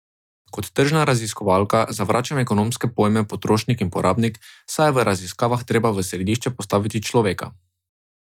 Kot tržna raziskovalka zavračam ekonomske pojme potrošnik in porabnik, saj je v raziskavah treba v središče postaviti človeka.